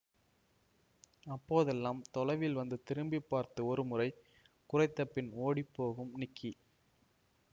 அப்போதெல்லாம் தொலைவில் வந்து திரும்பி பார்த்து ஒரு முறை குரைத்த பின் ஓடிப்போகும் நிக்கி